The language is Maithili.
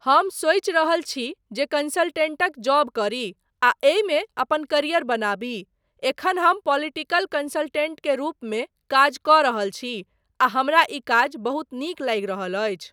हम सोचि रहल छी जे कंसलटेंटक जॉब करी आ एहिमे अपन करियर बनाबी, एखन हम पोलिटिकल कंसलटेंट के रूपमे काज कऽ रहल छी आ हमरा ई काज बहुत नीक लागि रहल अछि।